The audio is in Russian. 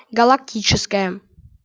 галактическая